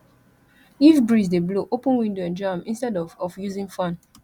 if breeze dey blow open window enjoy am instead of of using fan